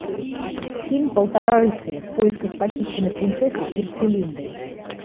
фильм полтора рыцаря в поисках похищенной принцессы херцелинды